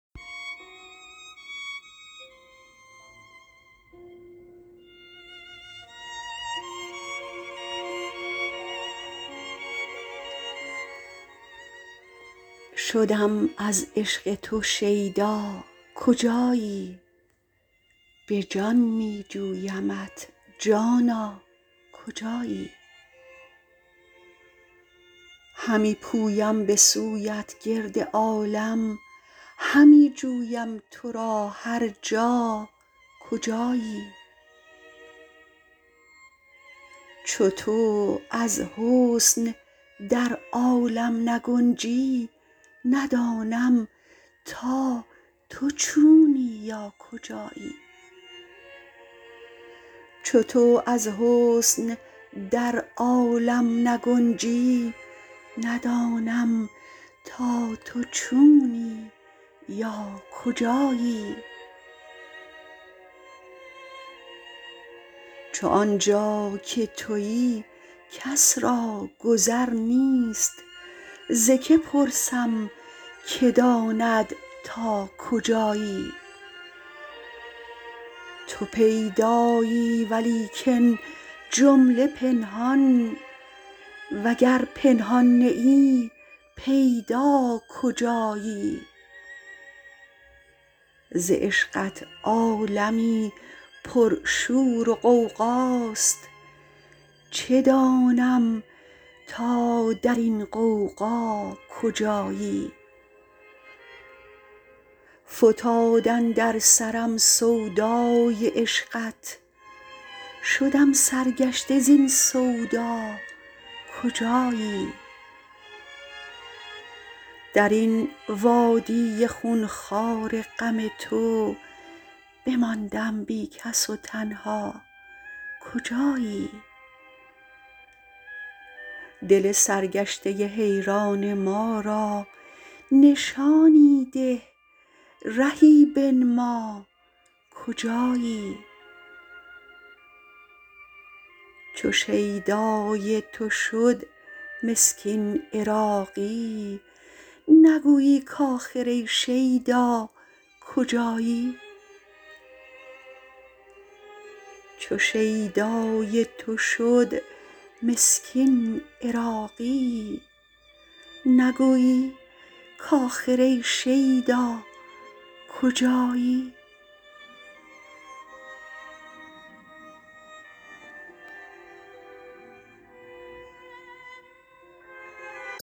شدم از عشق تو شیدا کجایی به جان می جویمت جانا کجایی همی پویم به سویت گرد عالم همی جویم تو را هر جا کجایی چو تو از حسن در عالم نگنجی ندانم تا تو چونی یا کجایی چو آنجا که تویی کس را گذر نیست ز که پرسم که داند تا کجایی تو پیدایی ولیکن جمله پنهان وگر پنهان نه ای پیدا کجایی ز عشقت عالمی پر شور و غوغاست چه دانم تا درین غوغا کجایی فتاد اندر سرم سودای عشقت شدم سرگشته زین سودا کجایی درین وادی خون خوار غم تو بماندم بی کس و تنها کجایی دل سرگشته حیران ما را نشانی ده رهی بنما کجایی چو شیدای تو شد مسکین عراقی نگویی کاخر ای شیدا کجایی